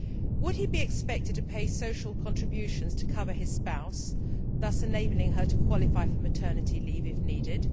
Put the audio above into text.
Would he be expected to pay social contributions to cover his spouse, thus enabling her to qualify for maternity leave if needed?